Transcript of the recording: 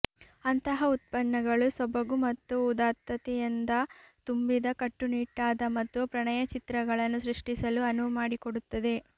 ಅಂತಹ ಉತ್ಪನ್ನಗಳು ಸೊಬಗು ಮತ್ತು ಉದಾತ್ತತೆಯಿಂದ ತುಂಬಿದ ಕಟ್ಟುನಿಟ್ಟಾದ ಮತ್ತು ಪ್ರಣಯ ಚಿತ್ರಗಳನ್ನು ಸೃಷ್ಟಿಸಲು ಅನುವು ಮಾಡಿಕೊಡುತ್ತದೆ